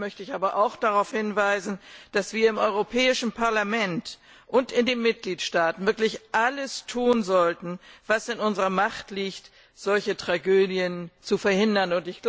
Gleichzeitig möchte ich aber auch darauf hinweisen, dass wir im Europäischen Parlament und in den Mitgliedstaaten wirklich alles tun sollten, was in unserer Macht liegt, solche Tragödien zu verhindern.